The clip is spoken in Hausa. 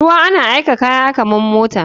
Ruwa yan aika kaya kaman mota.